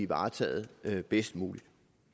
varetaget bedst muligt